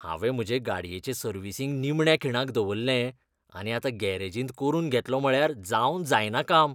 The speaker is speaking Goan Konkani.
हांवें म्हजे गाडयेचें सर्विसिंग निमण्या खिणाक दवरलें, आनी आतां गॅरेजींत करून घेतलों म्हळ्यार जावन जायना काम.